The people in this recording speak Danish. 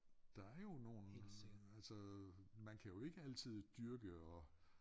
Der er jo nogle altså man kan jo ikke altid dyrke og